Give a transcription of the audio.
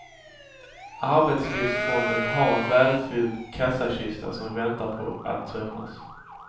Arbetslivsfonden har en välfylld kassakista som väntar på att tömmas.